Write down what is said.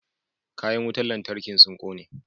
Kayan wutan lantarkin sun kone.